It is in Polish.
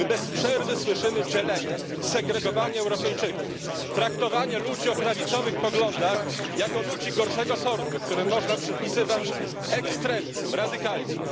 My bez przerwy słyszymy dzielenie, segregowanie Europejczyków, traktowanie ludzi o prawicowych poglądach jako ludzi gorszego sortu, którym można przypisywać ekstremizm, radykalizm.